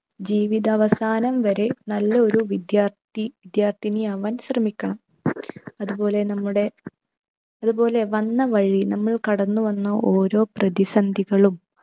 ജീവിതാവസാനം വരെ നല്ലൊരു വിദ്യാർത്ഥി വിദ്യാർഥിനി ആവാൻ ശ്രമിക്കണം. അതുപോലെ നമ്മുടെ അതുപോലെ വന്ന വഴി നമ്മൾ കടന്നു വന്ന ഓരോ പ്രതിസന്ധികളും